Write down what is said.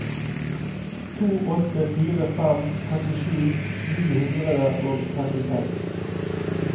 to åtte fire fem trettisju ni hundre og trettiseks